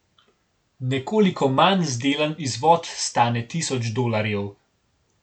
Nekoliko manj zdelan izvod stane tisoč dolarjev.